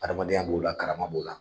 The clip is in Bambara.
Adamadenya b'o la karama b'o la